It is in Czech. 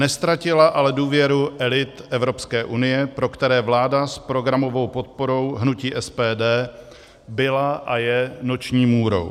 Neztratila ale důvěru elit Evropské unie, pro které vláda s programovou podporou hnutí SPD byla a je noční můrou.